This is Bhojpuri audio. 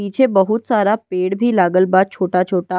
पीछे बहुत सारा पेड़ भी लागल बा छोटा-छोटा।